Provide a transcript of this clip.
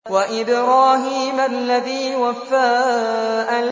وَإِبْرَاهِيمَ الَّذِي وَفَّىٰ